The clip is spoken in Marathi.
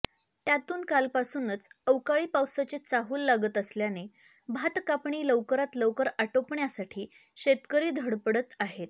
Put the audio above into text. त्यातून कालपासूनच अवकाळी पावसाची चाहुल लागत असल्याने भात कापणी लवकरात लवकर आटोपण्यासाठी शेतकरी धडपडत आहेत